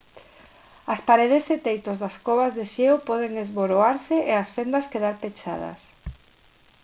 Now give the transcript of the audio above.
as paredes e teitos das covas de xeo poden esboroarse e as fendas quedar pechadas